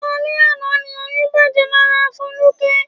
Alẹ àná ni oyún bàjẹ́ lára Foluke.